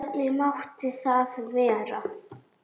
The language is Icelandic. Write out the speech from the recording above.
Hvernig mátti það vera?